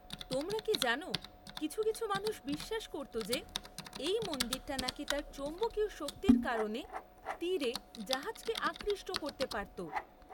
তোমরা কি জানো কিছু কিছু মানুষ বিশ্বাস করত যে এই মন্দিরটা নাকি তার চৌম্বকীয় শক্তির কারণে তীরে জাহাজকে আকৃষ্ট করতে পারত।